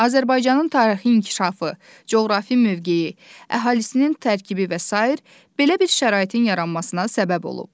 Azərbaycanın tarixi inkişafı, coğrafi mövqeyi, əhalisinin tərkibi və sair belə bir şəraitin yaranmasına səbəb olub.